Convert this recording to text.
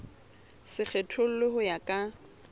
se kgethollwe ho ya ka